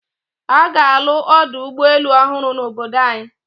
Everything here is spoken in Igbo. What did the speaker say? A ga-alụ ọdụ ụgbọelu ọhụrụ n'obodo anyị.